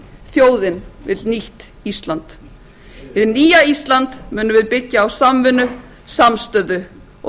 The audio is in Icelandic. þjóðin vill nýtt ísland hið nýja ísland munum við byggja á samvinnu samstöðu og